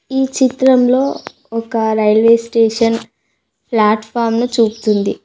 ఈ చిత్రంలో ఒక రైల్వే స్టేషన్ ప్లాట్ ఫామ్ ను చూపుతుంది.